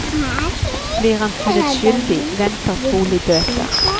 Blir han funnet skyldig, venter trolig bøter.